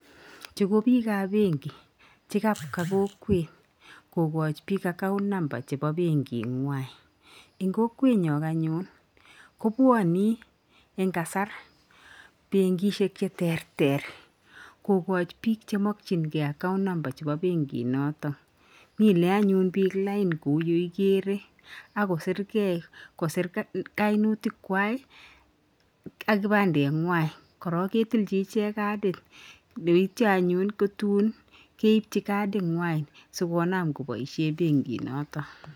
Chu ko bikap benki chekaba kokwet kokachi bik account number chebo kokwenwa. Eng kokwenyo anyun kobwane eng kasar benkishek cheterter kokach bik chemakchinkei account number chebo benkinoto. Minei anyun bik lain kou yeikere, akosirgei, kosir kainautikwak ak kibandenwa, korok ketilchi ichek kadit yeityo anyun ko tun keibchi kaditnwa sikonam kotai benkinoto